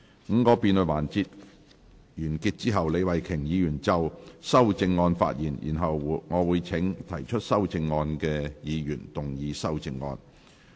五個辯論環節完結後，李慧琼議員可就修正案發言，然後我會請提出修正案的議員動議修正案。